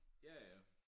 Ja ja